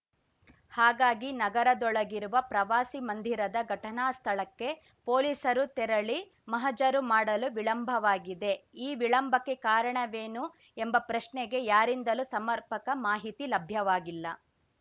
ಹಾಗಾಗಿ ನಗರದೊಳಗಿರುವ ಪ್ರವಾಸಿ ಮಂದಿರದ ಘಟನಾ ಸ್ಥಳಕ್ಕೆ ಪೊಲೀಸರು ತೆರಳಿ ಮಹಜರು ಮಾಡಲು ವಿಳಂಬವಾಗಿದೆ ಈ ವಿಳಂಬಕ್ಕೆ ಕಾರಣವೇನು ಎಂಬ ಪ್ರಶ್ನೆಗೆ ಯಾರಿಂದಲೂ ಸಮರ್ಪಕ ಮಾಹಿತಿ ಲಭ್ಯವಾಗಿಲ್ಲ